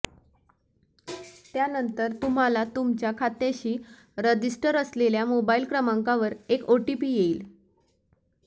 त्यानंतर तुम्हाला तुमच्या खात्याशी रजिस्टर असलेल्या मोबाइल क्रमांकावर एक ओटीपी येईल